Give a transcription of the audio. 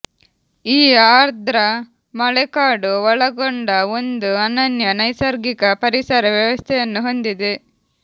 ಈ ಆರ್ದ್ರ ಮಳೆಕಾಡು ಒಳಗೊಂಡ ಒಂದು ಅನನ್ಯ ನೈಸರ್ಗಿಕ ಪರಿಸರ ವ್ಯವಸ್ಥೆಯನ್ನು ಹೊಂದಿದೆ